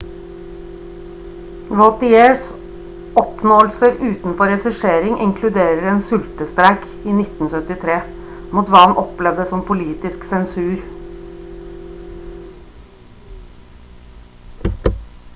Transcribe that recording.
vautiers oppnåelser utenfor regissering inkluderer en sultestreik i 1973 mot hva han opplevde som politisk sensur